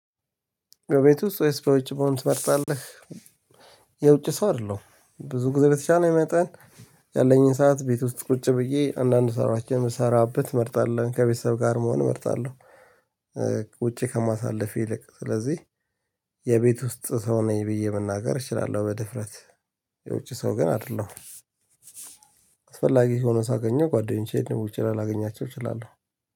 በቤት ውስጥ ወይስ በውጭ መሆን ትመርጣለህ? የውጭ ሰው አይደለሁም ብዙ ጊዜ በተቻለኝ መጠን ያለኝን ሰዓት ቤት ውስጥ ቁጭ ብዬ አንዳንድ ስራዎችን የምሰራበት እመርጣለሁ ከቤተሰብ ጋር መሆን እመርጣለሁ። ውጪ ከማሳለፍ ይልቅ ስለዚህ የቤት ውስጥ ሰው ነኝ ብዬ መናገር እችላለሁ በድፍረት። የውጭ ሰው ግን አይደለሁም አስፈላጊ ሆኖ ሳገኘው ጓደኞቼ ልሆን ይችላል ላገኛቸው እችላለሁ።